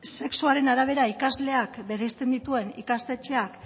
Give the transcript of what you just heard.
sexuaren arabera ikasleak bereizten dituen ikastetxea